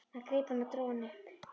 Hann greip hann og dró hann upp.